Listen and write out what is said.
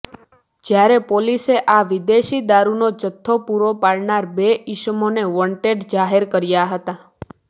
જ્યારે પોલીસે આ વિદેશી દારૂનો જથ્થો પૂરો પાડનાર બે ઇસમોને વોંટેડ જાહેર કર્યા હતા